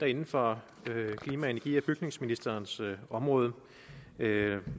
inden for klima energi og bygningsministerens område der er